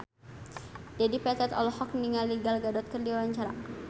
Dedi Petet olohok ningali Gal Gadot keur diwawancara